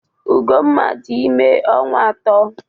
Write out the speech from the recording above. Ugomma dị ime ọnwa atọ.